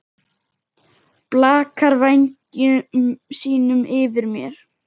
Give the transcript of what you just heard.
Blakar vængjum sínum yfir mér.